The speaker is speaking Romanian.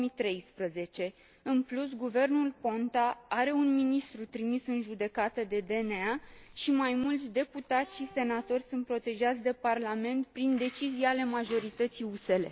2013. În plus, guvernul Ponta are un ministru trimis în judecată de DNA și mai mulți deputați și senatori sunt protejați de Parlament prin decizii ale majorității USL.